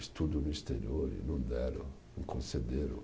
Estudo no exterior, e não deram, não concederam.